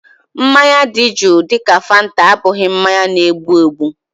Mmanya dị juu dịka fanta abụghị mmanya na-egbu egbu